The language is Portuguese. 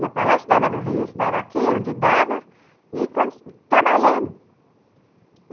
Ia para lá, estudava no Rio, estudava aqui, onde dava, e trabalhando.